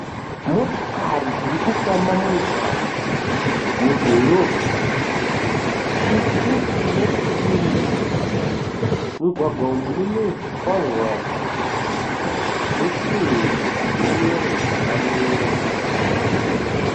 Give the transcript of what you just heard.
Motikari dzirikufamba mumugwagwa mudhorobha, tsvuku nedzesirivha. Mumugwagwa umu mune zvikwangwani nesimbi dzeyero dzakamira.